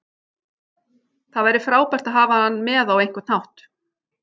Það væri frábært að hafa hann með á einhvern hátt.